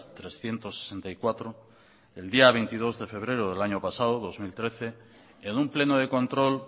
trescientos sesenta y cuatro el día veintidós de febrero del año pasado dos mil trece en un pleno de control